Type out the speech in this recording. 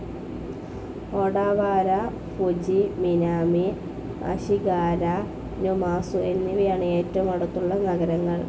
Odawara, Fuji, Minami Ashigara, Numazu എന്നിവയാണ് ഏറ്റവും അടുത്തുള്ള നഗരങ്ങൾ.